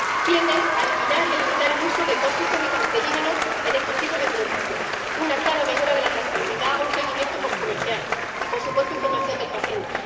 tienden a eliminar y limitar el uso de tóxicos y cancerígenos en estos tipos de productos, una clara mejora de la trazabilidad, un seguimiento poscomercial y, por supuesto, información del paciente.